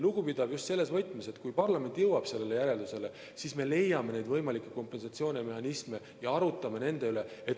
Lugupidav just selles võtmes, et kui parlament jõuab sellele järeldusele, siis me leiame võimalikke kompensatsioonimehhanisme ja arutame nende üle.